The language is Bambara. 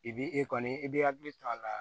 I b'i e kɔni i b'i hakili to a la